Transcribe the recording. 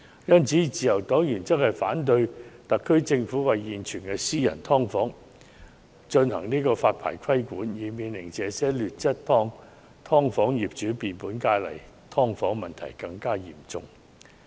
因此，自由黨原則上反對特區政府對現存的"劏房"進行發牌規管，以免這些劣質"劏房"的業主更有恃無恐，令"劏房"問題更嚴重。